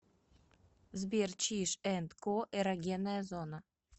сбер чиж энд ко эрогенная зона